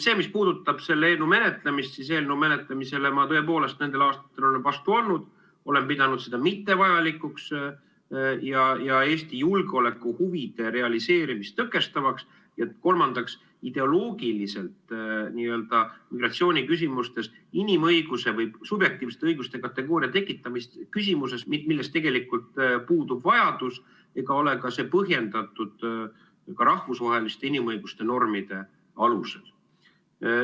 See, mis puudutab selle eelnõu menetlemist, siis eelnõu menetlemisele ma tõepoolest nendel aastatel olen vastu olnud, olen pidanud seda mittevajalikuks ja Eesti julgeolekuhuvide realiseerimist tõkestavaks, ja kolmandaks, ideoloogiliselt migratsiooniküsimustes inimõiguse või subjektiivsete õiguste kategooria tekitamist küsimustes, milleks tegelikult puudub vajadus ega ole see ka põhjendatud rahvusvaheliste inimõiguste normide alusel.